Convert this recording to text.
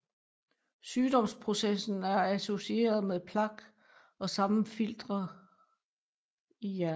Sygdomsprocessen er associeret med plak og sammenfiltringer i hjernen